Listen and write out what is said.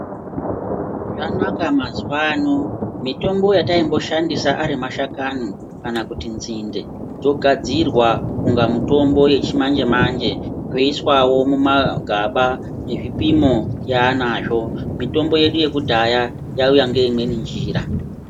Zvanaka mazuwo ano mitombo yataimboshandisa ari mashakani kana kuti nzinde dzogadzirwa inga mitombo yechimanje-manje zvoiswawo mumagaba nezvipimo yanazvo mitombo yedu yekudhaya yauya ngeimweni njira.